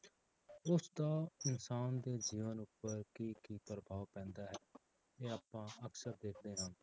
ਉਸਦਾ ਇਨਸਾਨ ਦੇ ਜੀਵਨ ਉੱਪਰ ਕੀ ਕੀ ਪ੍ਰਭਾਵ ਪੈਂਦਾ ਹੈ ਇਹ ਆਪਾਂ ਅਕਸਰ ਦੇਖਦੇ ਹਾਂ।